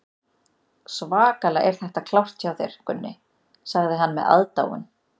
Svakalega er þetta klárt hjá þér, Gunni, sagði hann með aðdáun.